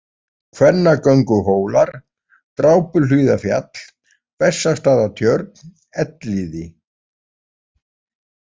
Kvennagönguhólar, Drápuhlíðarfjall, Bessastaðatjörn, Elliði